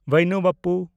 ᱵᱟᱭᱱᱩ ᱵᱟᱯᱯᱩ